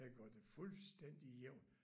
Den gør det fuldstændig jævn